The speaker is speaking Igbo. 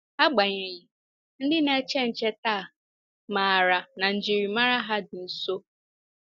Agbanyeghị, ndị na-eche nche taa maara na njiri mara ha dị nso.